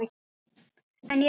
En já.